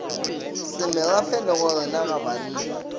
semerafe le gorena ga bannna